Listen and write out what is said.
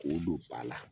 K'o don ba la